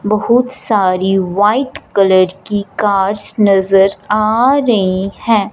बहुत सारी white colour की कार्स नजर आ रही है।